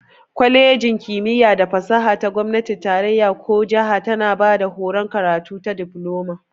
Kwalejin kimiyya da fasaha ta gomnatin tarayya ko jiha tana bada horon karatu ta Difloma.